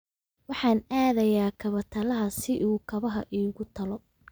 Waxaan aadayaa kaba talaha si uu kabaha iigu tolo